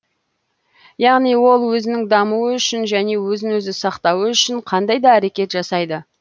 яғни ол өзінің дамуы үшін және өзін өзі сақтауы үшін қандай да әрекет жасайды